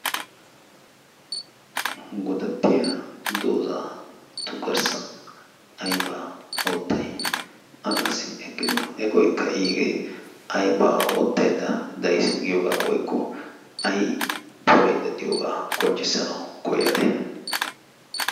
godattiya dooza tu garssan aiba oottai a qassi eqqido eqoikka iigee aibaa oottaidda dais giyoogaa woykko ay pulaydda diyoogaa qonccissanawu koyade?